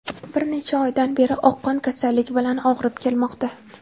Bir necha oydan beri oqqon kasalligi bilan og‘rib kelmoqda.